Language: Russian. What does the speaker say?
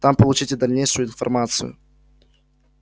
там получите дальнейшую информацию